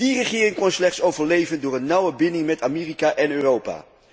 Die regering kon slechts overleven door een nauwe binding met Amerika en Europa.